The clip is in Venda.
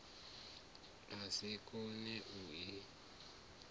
a si koe u i